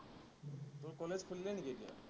তোৰ কলেজ খুলিলে নেকি এতিয়া?